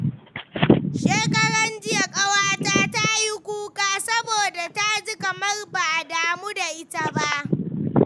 Shekaranjiya, wata ƙawata ta yi kuka saboda ta ji kamar ba a damu da ita ba.